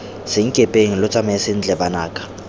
senkepeng lo tsamae sentle banaka